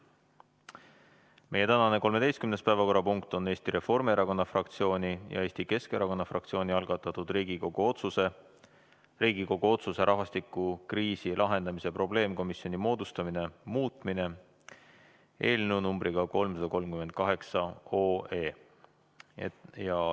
Meie tänane 13. päevakorrapunkt on Eesti Reformierakonna fraktsiooni ja Eesti Keskerakonna fraktsiooni algatatud Riigikogu otsuse "Riigikogu otsuse "Rahvastikukriisi lahendamise probleemkomisjoni moodustamine" muutmine" eelnõu nr 338.